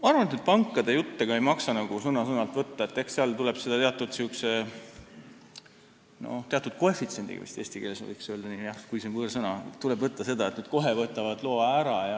Ma arvan, et pankade jutte ei maksa sõna-sõnalt võtta, eks seda tuleb võtta teatud koefitsiendiga – eesti keeles võiks vist nii öelda, kuigi see on võõrsõna –, et nad kohe võtavad loa ära.